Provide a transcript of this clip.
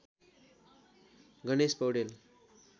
Ganesh Paudel